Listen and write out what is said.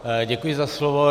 Děkuji za slovo.